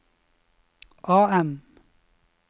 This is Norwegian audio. AM